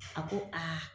A ko aa